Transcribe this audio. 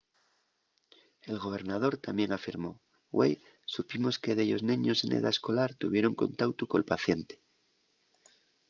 el gobernador tamién afirmó güei supimos que dellos neños n’edá escolar tuvieron contautu col paciente.